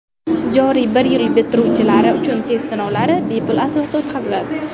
Joriy yil bitiruvchilari uchun test sinovlari bepul asosda o‘tkaziladi.